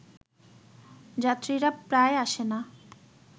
যাত্রীরা প্রায়ই আসে না